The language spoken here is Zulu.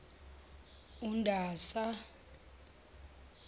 undasa